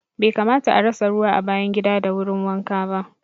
Bai kamata a rasa ruwa a bayan gida da wurin wanka ba